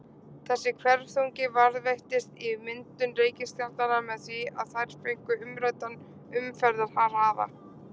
Þessi hverfiþungi varðveittist í myndun reikistjarnanna með því að þær fengu umræddan umferðarhraða.